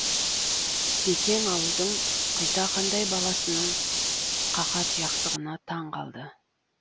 бекен ауылдың құйтақандай баласының қақатұяқтығына таң қалды